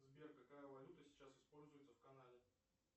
сбер какая валюта сейчас используется в канаде